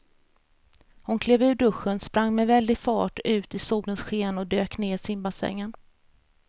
Hon klev ur duschen, sprang med väldig fart ut i solens sken och dök ner i simbassängen.